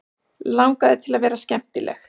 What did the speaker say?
Langaði til að vera skemmtileg.